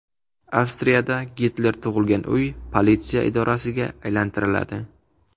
Avstriyada Gitler tug‘ilgan uy politsiya idorasiga aylantiriladi .